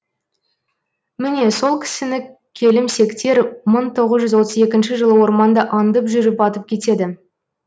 міне сол кісіні келімсектер мың тоғыз жүз отыз екінші жылы орманда аңдып жүріп атып кетеді